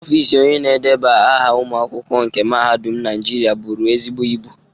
Ọfịs Onye na-edeba aha ụmụ akwụkwọ nke mahadum Naijiria buru ezigbo ibu.